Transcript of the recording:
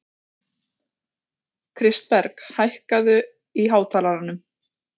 Lirfur drekaflugurnar lifa í vatni og eru einnig skæð rándýr.